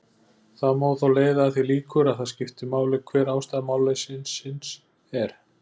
Það má þó leiða að því líkur að það skipti máli hver ástæða málleysisins er.